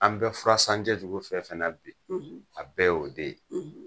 An bɛ furasan cɛjugu fɛn fɛn na bi, a bɛɛ y'o de ye.